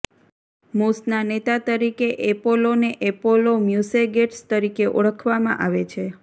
મૂસના નેતા તરીકે એપોલોને એપોલો મ્યુસેગેટ્સ તરીકે ઓળખવામાં આવે છે